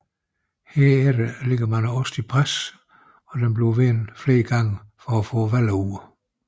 Herefter lægges osten i pres og vendes flere gange for at få vallen ud